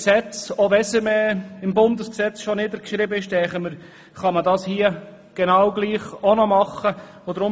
Selbst wenn diese Bestimmung bereits im Bundesgesetz niedergeschrieben ist, denken wir, dass dies hier genau gleich getan werden kann.